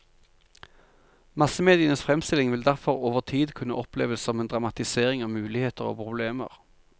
Massemedienes fremstilling vil derfor over tid kunne oppleves som en dramatisering av muligheter og problemer.